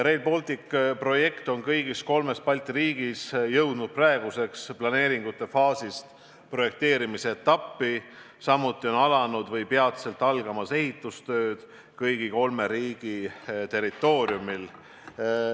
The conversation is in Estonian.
" Rail Balticu projekt on kõigis kolmes Balti riigis jõudnud praeguseks planeeringute faasist projekteerimisetappi, samuti on alanud või peatselt algamas ehitustööd kõigi kolme riigi territooriumil.